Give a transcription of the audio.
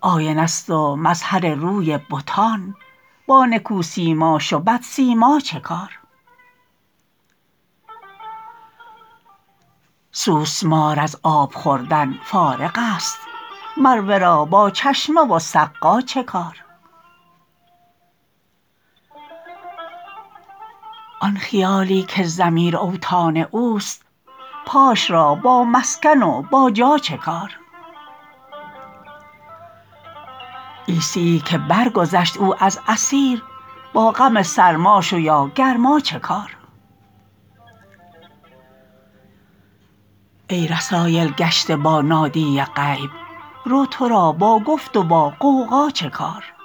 آینه ست و مظهر روی بتان با نکوسیماش و بدسیما چه کار سوسمار از آب خوردن فارغست مر ورا با چشمه و سقا چه کار آن خیالی که ضمیر اوطان اوست پاش را با مسکن و با جا چه کار عیسیی که برگذشت او از اثیر با غم سرماش و یا گرما چه کار ای رسایل کشته با نادی غیب رو تو را با گفت و با غوغا چه کار